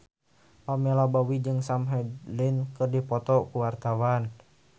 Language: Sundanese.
Pamela Bowie jeung Sam Hazeldine keur dipoto ku wartawan